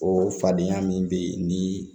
O fadenya min be yen ni